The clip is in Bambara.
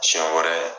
Siɲɛ wɛrɛ